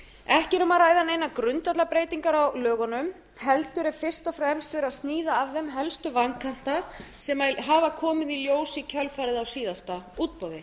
ekki er um að ræða neina grundvallarbreytingar á lögunum heldur er fyrst og fremst verið að sníða af þeim helstu vankanta sem hafa komið í ljós í kjölfarið á síðasta útboði